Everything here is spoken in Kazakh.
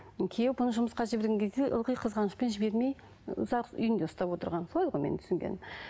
күйеуі бұны жұмысқа жіберген кезде ылғи қызғанышпен жібермей ұзақ үйінде ұстап отырған солай ғой менің түсінгенім